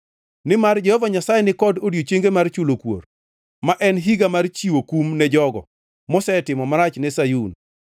Nimar Jehova Nyasaye ni kod odiechienge mar chulo kuor, ma en higa mar chiwo kum ne jogo, mosetimo marach ne Sayun.